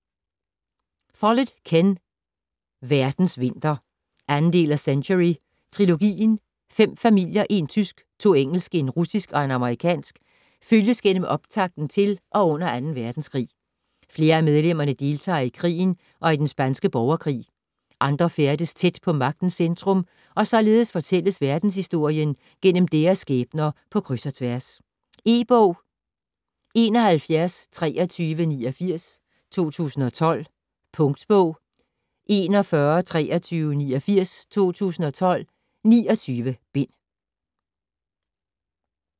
Follett, Ken: Verdens vinter 2. del af Century trilogien. Fem familier, en tysk, to engelske, en russisk og en amerikansk, følges gennem optakten til og under 2.verdenskrig. Flere af medlemmerne deltager i krigen og i den spanske borgerkrig, andre færdes tæt på magtens centrum, og således fortælles verdenshistorien gennem deres skæbner på kryds og tværs. E-bog 712389 2012. Punktbog 412389 2012. 29 bind.